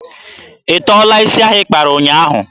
Ị tọọla isi ahụ ị kpara ụnyaahụ?